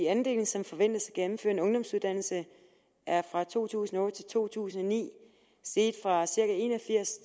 andelen som forventes at gennemføre en ungdomsuddannelse er fra to tusind og otte til to tusind og ni steget fra cirka en og firs